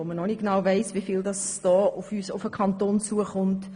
Wir wissen noch nicht, wieviel in diesem Zusammenhang auf den Kanton zukommt.